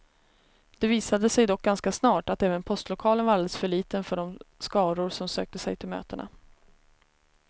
Det visade sig dock ganska snart, att även postlokalen var alldeles för liten för de skaror som sökte sig till mötena.